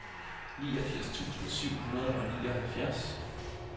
niogfirs tusind syv hundrede og nioghalvfjerds